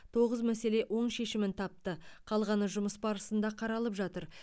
тоғыз мәселе оң шешімін тапты қалғаны жұмыс барысында қаралып жатыр